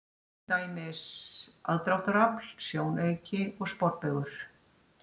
Til dæmis: aðdráttarafl, sjónauki og sporbaugur.